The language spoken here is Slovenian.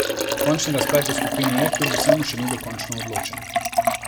Končni razplet v skupini E kljub vsemu še ni dokončno odločen.